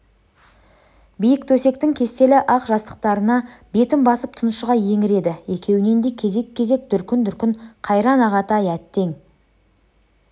биік төсектің кестелі ақ жастықтарына бетін басып тұншыға еңіреді екеуінен де кезек-кезек дүркін-дүркін қайран ағатай әттең